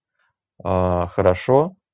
а хорошо